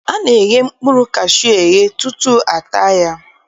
A na-eghe mkpụrụ kashuu eghe tutu a taa ya